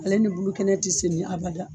Ale ni bulu kɛnɛ ti seni abada